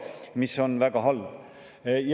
See on väga halb.